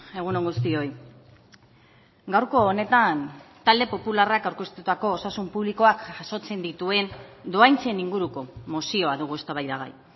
egun on guztioi gaurko honetan talde popularrak aurkeztutako osasun publikoak jasotzen dituen dohaintzen inguruko mozioa dugu eztabaidagai